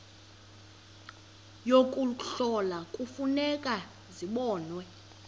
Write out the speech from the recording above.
yokuhlola kufuneka zibonwe